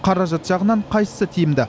қаражат жағынан қайсысы тиімді